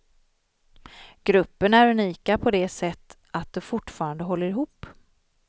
Gruppen är unika på det sätt att de fortfarande håller ihop.